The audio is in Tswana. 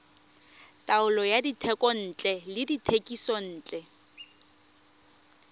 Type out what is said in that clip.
taolo ya dithekontle le dithekisontle